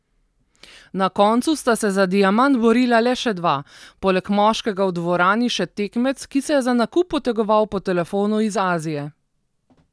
Na koncu sta se za diamant borila le še dva, poleg moškega v dvorani še tekmec, ki se je za nakup potegoval po telefonu iz Azije.